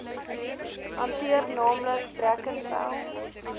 hanteer naamlik brackenfell